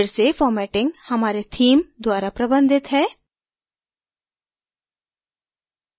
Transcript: फिर से formatting हमारे theme द्वारा प्रबंधित है